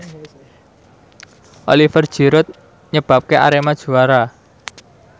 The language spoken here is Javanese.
Oliver Giroud nyebabke Arema juara